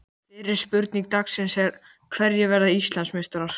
Fyrri spurning dagsins er: Hverjir verða Íslandsmeistarar?